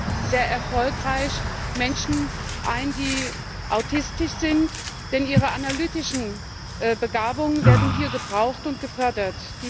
B. sehr erfolgreich Menschen ein, die autistisch sind, denn ihre analytischen Begabungen werden hier gebraucht und gefördert.